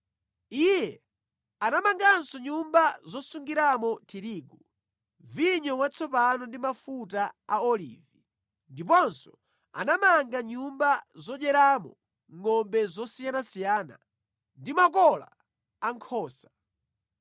Iye anamanganso nyumba zosungiramo tirigu, vinyo watsopano ndi mafuta a olivi, ndiponso anamanga nyumba zodyeramo ngʼombe zosiyanasiyana, ndi makola a nkhosa.